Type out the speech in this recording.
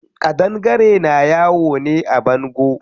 Ƙadangare na yawo ne a bango.